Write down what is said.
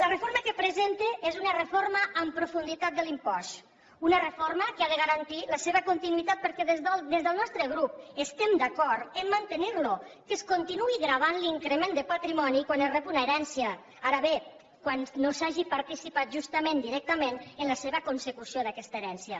la reforma que presenta és una reforma en profunditat de l’impost una reforma que ha de garantir la seva continuïtat perquè des del nostre grup estem d’acord a mantenirlo que es continuï gravant l’increment de patrimoni quan es rep una herència ara bé quan no s’hagi participat justament directament en la seva consecució d’aquesta herència